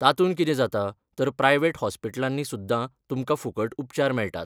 तातून कितें जाता तर प्रायवेट हॉस्पिट्लांनी सुद्दां तुमकां फुकट उपचार मेळटात.